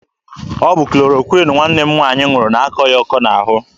Ọ bụ klorokwịn nwanne m nwaanyị ṅụrụ na-akọ ya ọkọ n'ahụ.